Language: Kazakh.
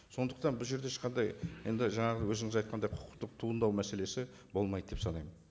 сондықтан бұл жерде ешқандай енді жаңағы өзіңіз айтқандай құқықтық туындау мәселесі болмайды деп санаймын